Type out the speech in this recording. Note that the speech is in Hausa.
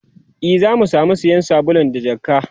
e Zaki samu sayan sabulu da jakka